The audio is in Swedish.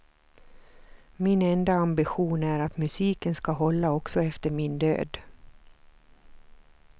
Min enda ambition är att musiken ska hålla också efter min död.